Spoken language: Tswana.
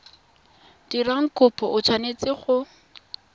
dirang kopo o tshwanetse go